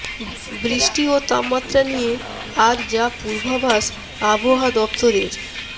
বৃষ্টি ও তাপমাত্রা নিয়ে আর যা পূর্বাভাস আবহাওয়া দফতরের